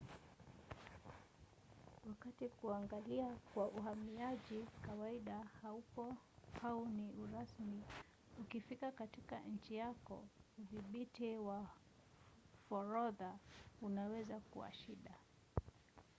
wakati kuangaliwa kwa uhamiaji kawaida haupo au ni urasmi ukifika katika nchi yako udhibiti wa forodha unaweza kuwa shida